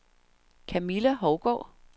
Camilla Hougaard